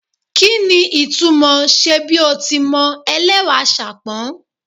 Kí ni ìtumò ṣe bí o ti mọ ẹlẹ́wà Ṣàpọ́n?